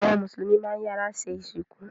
Awọn Musulumi mán iyàra sẹ́ isinku